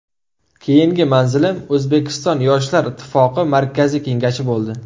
Keyingi manzilim O‘zbekiston Yoshlar ittifoqi Markaziy Kengashi bo‘ldi.